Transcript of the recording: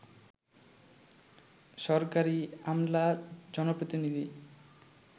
সরকারি আমলা, জনপ্রতিনিধি